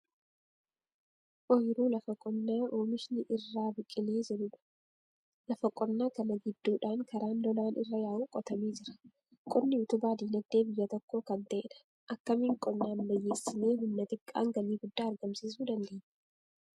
Ooyiruu lafa qonnaa oomishni irraa biqilee jirudha. lafa qonnaa kana gidduudhaan karaan lolaan irra yaa'u qotamee jira. Qonni utubaa dinagdee biyya tokkoo kan ta'edha. Akkamiin qonna ammayyeessinee humna xiqqaan galii guddaa argamsiisuu dandeenya?